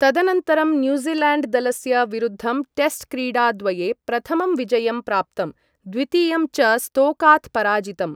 तदनन्तरं न्यूज़िलेण्ड् दलस्य विरुद्धं टेस्ट् क्रीडाद्वये, प्रथमं विजयं प्राप्तम्, द्वितीयं च स्तोकात् पराजितम्।